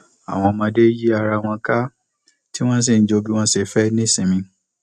àwọn ọmọdé yí ara wọn ká tí wọn sì ń jó bí wọn ṣe fẹ ní sinmi